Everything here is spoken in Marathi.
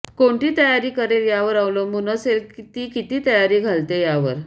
कोणती तयारी करेल यावर अवलंबून असेल ती किती तयारी घालते यावर